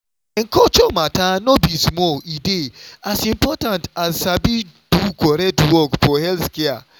ehn culture matter no be small e dey as important as sabi do correct work for healthcare.